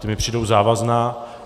Ta mi přijdou závazná.